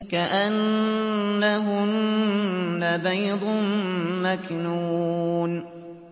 كَأَنَّهُنَّ بَيْضٌ مَّكْنُونٌ